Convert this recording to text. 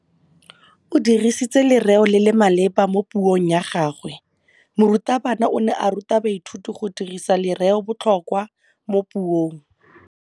O dirisitse lerêo le le maleba mo puông ya gagwe. Morutabana o ne a ruta baithuti go dirisa lêrêôbotlhôkwa mo puong.